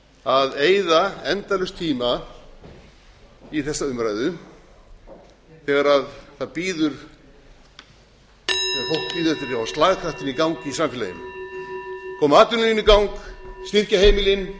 að eyða endalaust tíma í þessa umræðu þegar fólk bíður eftir að fá slagkraftinn í gang í samfélaginu koma atvinnulífinu í gang styrkja heimilin